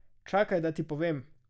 Čakaj, da ti povem.